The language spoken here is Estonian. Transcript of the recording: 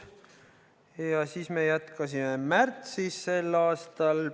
Ja me jätkasime märtsis sel aastal.